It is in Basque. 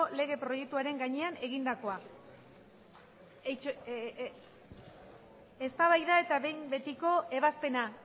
lege proiektuaren gainean egindakoa eztabaida eta behin betiko ebazpena